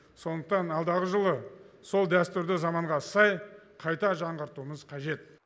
сондықтан алдағы жылы сол дәстүрді заманға сай қайта жаңғыртуымыз қажет